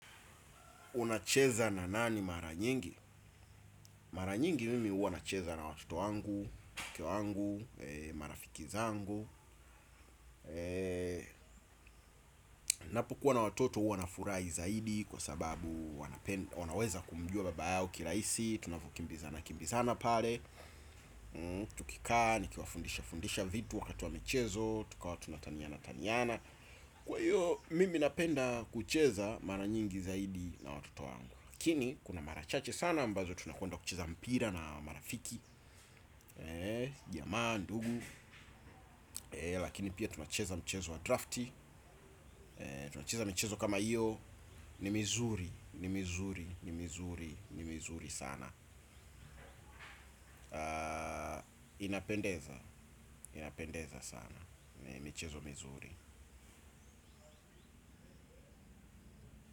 Unacheza na nani mara nyingi? Mara nyingi mimi huwa nacheza na watoto wangu, mke wangu, marafiki zangu, napokuwa na watoto huwanafurai zaidi kwa sababu wanaweza kumjua babayao kilaisi. Tunafukimbizana, kimbizana pale. Tukikaa, nikiwafundisha fundisha vitu wakati wa michezo, tukawa tunataniana taniana. Kwa hiyo mimi napenda kucheza mara nyingi zaidi. Na watoto wangu, lakini kuna mara chache sana ambazo tunakwenda kucheza mpira na marafiki. Jamaa, ndugu, lakini pia tunacheza mchezo wa drafti, tunacheza michezo kama hiyo, ni mizuri, ni mizuri, ni mizuri, ni mizuri sana. Inapendeza, inapendeza sana. Ni michezo mizuri.